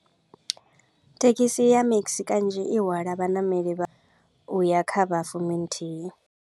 Thekhisi ya maxi kanzhi i hwala vhaṋameli vha u ya kha vha fumi nthihi.